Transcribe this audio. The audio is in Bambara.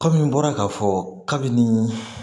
Kɔmi n bɔra k'a fɔ kabini